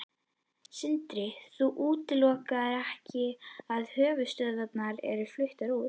Sindri: Þú útilokar ekki að höfuðstöðvar verði fluttar út?